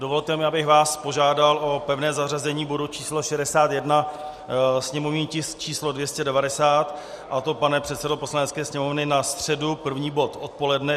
Dovolte mi, abych vás požádal o pevné zařazení bodu číslo 61, sněmovní tisk číslo 290, a to, pane předsedo Poslanecké sněmovny, na středu první bod odpoledne.